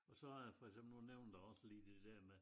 Og har jeg for eksempel jeg nævnte du også lige det dér med